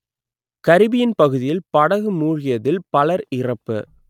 Caribbean பகுதியில் படகு மூழ்கியதில் பலர் இறப்பு